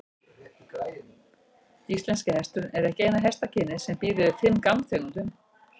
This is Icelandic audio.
Íslenski hesturinn er ekki eina hestakynið sem býr yfir fimm gangtegundum.